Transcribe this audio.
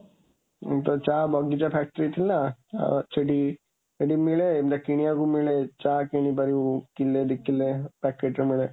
ଉମ ଚା ବଗିଚା factory ଥିଲା, ଆଉ, ସେଠି ସେଠି ମିଳେ, କିଣିବାକୁ ମିଳେ, ଚା କିଣିପାରିବୁ, କିଲେ, ଦି କିଲେ, packetରେ ମିଳେ।